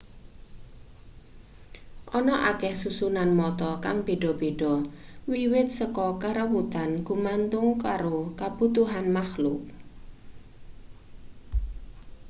ana akeh susunan mata kang beda-beda wiwit saka karuwetan gumantung karo kabutuhan makluk